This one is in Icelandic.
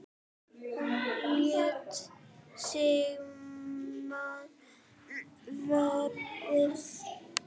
Hún lét sig mann varða.